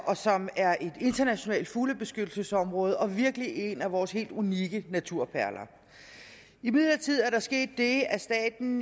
og som er et internationalt fuglebeskyttelsesområde og virkelig en af vores helt unikke naturperler imidlertid er der sket det at staten